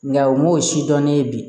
Nka o m'o si dɔn ne ye bi